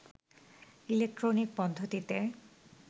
electronic পদ্ধতিতে